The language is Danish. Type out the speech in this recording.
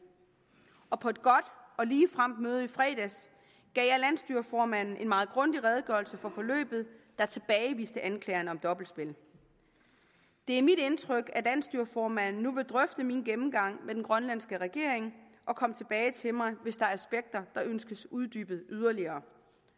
og på et godt og ligefremt møde i fredags gav jeg landsstyreformanden en meget grundig redegørelse for forløbet der tilbageviste anklagerne om dobbeltspil det er mit indtryk at landsstyreformanden nu vil drøfte min gennemgang med den grønlandske regering og komme tilbage til mig hvis der er aspekter der ønskes uddybet yderligere